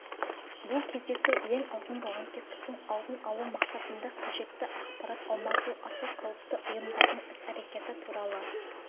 бұл кездесу ең алдымен лаңкестіктің алдын алу мақсатында қажетті ақпарат алмасу аса қауіпті ұйымдардың іс-әрекеті туралы